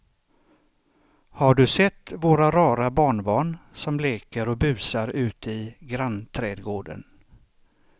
Har du sett våra rara barnbarn som leker och busar ute i grannträdgården!